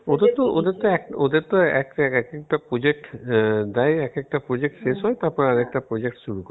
ওদের তো ওদের তো এক~ ওদের তো এক এক একটা project দেয় এক একটা project শেষ হয় তারপর আরেকটা project শুরু করে